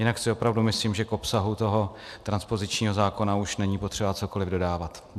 Jinak si opravdu myslím, že k obsahu toho transpozičního zákona už není potřeba cokoli dodávat.